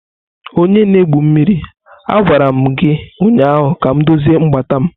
Onye na-egwu mmiri, a gwara m gị ụnyaahụ ka m dozie mgbata m!